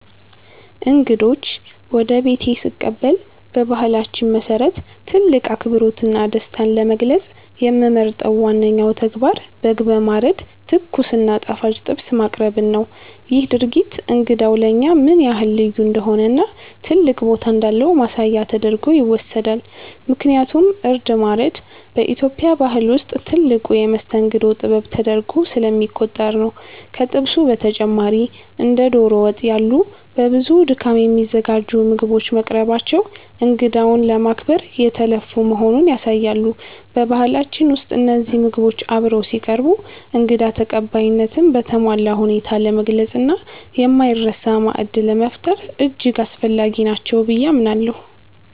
እንግዶችን ወደ ቤቴ ስቀበል በባህላችን መሰረት ትልቅ አክብሮትና ደስታን ለመግለጽ የምመርጠው ዋነኛው ተግባር በግ በማረድ ትኩስ እና ጣፋጭ ጥብስ ማቅረብን ነው። ይህ ድርጊት እንግዳው ለእኛ ምን ያህል ልዩ እንደሆነና ትልቅ ቦታ እንዳለው ማሳያ ተደርጎ ይወሰዳል፤ ምክንያቱም እርድ ማረድ በኢትዮጵያ ባህል ውስጥ ትልቁ የመስተንግዶ ጥበብ ተደርጎ ስለሚቆጠር ነው። ከጥብሱ በተጨማሪ እንደ ዶሮ ወጥ ያሉ በብዙ ድካም የሚዘጋጁ ምግቦች መቅረባቸው እንግዳውን ለማክበር የተለፋ መሆኑን ያሳያሉ። በባህላችን ውስጥ እነዚህ ምግቦች አብረው ሲቀርቡ እንግዳ ተቀባይነትን በተሟላ ሁኔታ ለመግለጽና የማይረሳ ማዕድ ለመፍጠር እጅግ አስፈላጊ ናቸው ብዬ አምናለሁ።